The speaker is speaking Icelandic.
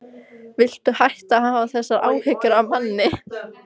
Viltu hætta að hafa þessar áhyggjur af manni!